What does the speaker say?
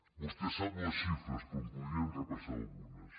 vostè sap les xifres però en podríem repassar algunes